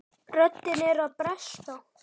Röddin er að bresta.